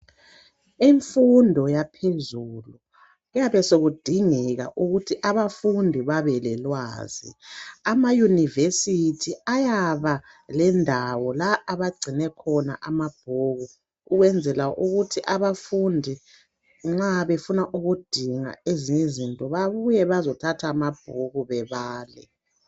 imfundo yaphezulu kuyabe sekudingeka ukuthi abafundi babelelwazi ama university ayaba lendawo la abagcine khona amabhuku ukwenzela ukuthi abafundi nxa befuna ukudinga ezinye izinto babuye bazethatha amabhuku bebale